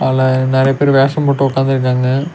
அதுல நெறைய பேர் வேஷம் போட்டு உக்காந்துருக்காங்க.